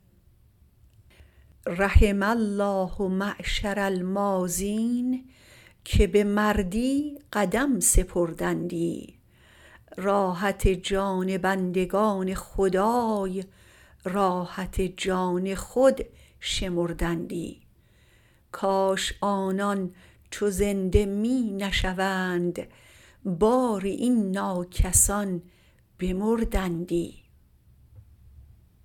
رحم الله معشر الماضین که به مردی قدم سپردندی راحت جان بندگان خدای راحت جان خود شمردندی کاش آنان چو زنده می نشوند باری این ناکسان بمردندی